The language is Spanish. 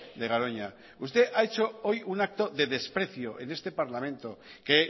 de garoña usted ha hecho hoy un acto de desprecio en este parlamento que